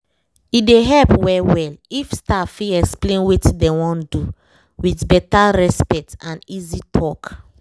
e dey help well well if staff fit explain wetin dem wan do with better respect and easy talk